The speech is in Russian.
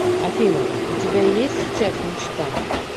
афина у тебя есть сейчас мечта